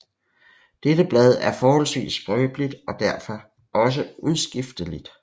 Dette blad er forholdsvis skrøbeligt og derfor også udskifteligt